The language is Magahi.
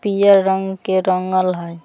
पियर रंग के रंगल हई।